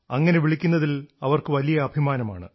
അങ്ങനെ വിളിക്കുന്നതിൽ അവർക്ക് വലിയ അഭിമാനമാണ്